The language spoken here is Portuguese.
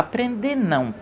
Aprender, não.